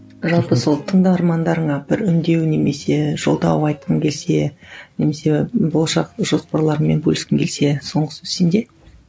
жалпы сол тыңдармандарыңа бір үндеу немесе жолдау айтқың келсе немесе болашақ жоспарларыңмен бөліскің келсе соңғы сөз сенде